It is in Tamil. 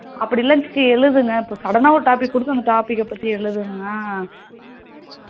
அப்படிலாம் பத்தி எழுதுனேன் இப்போ sudden ஆ ஒரு topic கொடுத்து இந்த topic பத்தி எழுதுனா